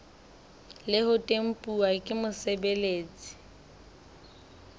le ho tempuwa ke mosebeletsi